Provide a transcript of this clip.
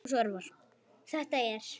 Þetta er.